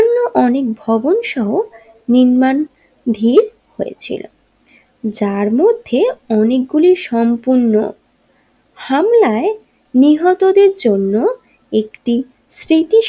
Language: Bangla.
অনেক ভবন সহ নির্মাণ ধী হয়েছিল যার মধ্যে অনেকগুলি সম্পূর্ণ হামলায় নিহতদের জন্য একটি স্মৃতি।